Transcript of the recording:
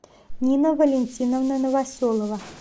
нина валентиновна новоселова